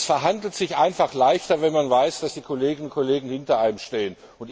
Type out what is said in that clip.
Es verhandelt sich einfach leichter, wenn man weiß, dass die Kolleginnen und Kollegen hinter einem stehen.